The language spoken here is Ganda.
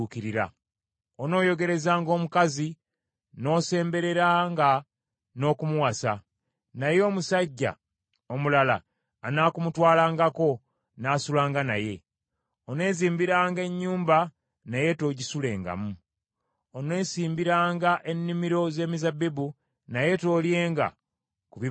Onooyogerezanga omukazi, n’osembereranga n’okumuwasa, naye omusajja omulala anaakumutwalangako n’asulanga naye. Oneezimbiranga ennyumba naye toogisulengamu. Oneesimbiranga ennimiro z’emizabbibu, naye toolyenga ku bibala byamu.